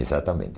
Exatamente.